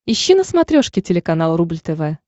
ищи на смотрешке телеканал рубль тв